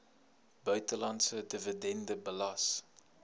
buitelandse dividende belas